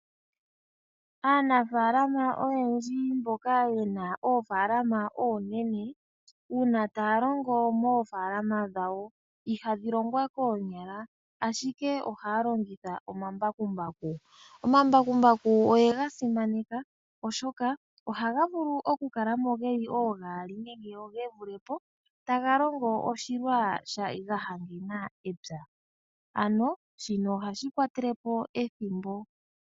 Aanafaalama oyendji mboka ye na oofaalama oonene uuna taya longo moofaalama dhawo, ihadhi longwa koomyala ashike ohaya longitha omambakumbaku. Omambakumbaku oyega simaneka oshoka ohaga vulu okukala mo geli oogaali nenge oogatatu taga longo oshilwa gahangena epya.